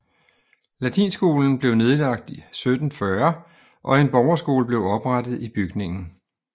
Latinskolen blev nedlagt 1740 og en borgerskole blev oprettet i bygningen